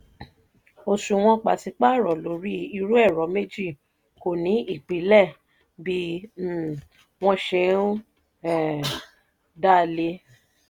òṣùwọ̀n pàṣípààrọ̀ lórí irú ẹ̀rọ méjì kò ní ìpìlẹ̀ bí um wọ́n ṣe um dálé. um